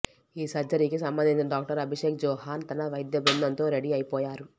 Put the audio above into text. ఈ సర్జరీకి సంబంధించిన డాక్టర్ అభిషేక్ జోహన్ తన వైద్య బృందంతో రెడీ అయిపోయారు